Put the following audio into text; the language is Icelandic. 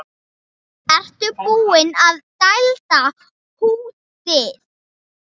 Ertu búinn að dælda húddið?